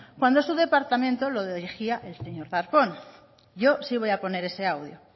cuando su departamento lo dirigía el señor darpón yo si voy a poner ese audio